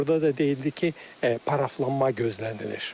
Və orda da deyildi ki, paraflanma gözlənilir.